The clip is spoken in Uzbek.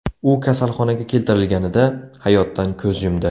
U kasalxonaga keltirilganida hayotdan ko‘z yumdi.